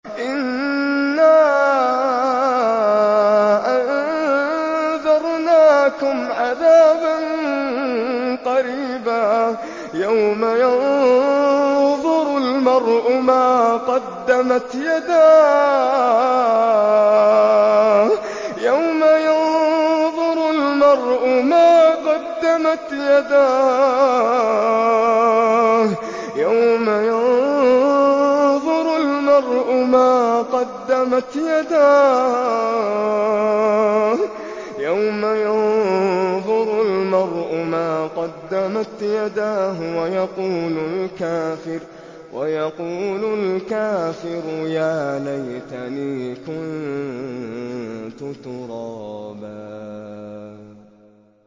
إِنَّا أَنذَرْنَاكُمْ عَذَابًا قَرِيبًا يَوْمَ يَنظُرُ الْمَرْءُ مَا قَدَّمَتْ يَدَاهُ وَيَقُولُ الْكَافِرُ يَا لَيْتَنِي كُنتُ تُرَابًا